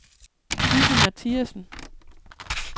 Lizzi Mathiasen